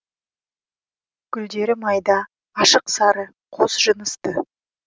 гүлдері майда ашық сары қос жынысты